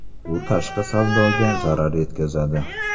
Bu tashqi savdoga zarar yetkazadi.